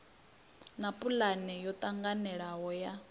na pulane ya ṱhanganelano ya